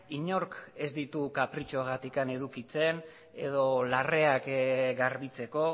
inork ez ditu kapritxoagatik edukitzen edo larreak garbitzeko